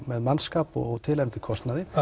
með mannskapi og tilheyrandi kostnaði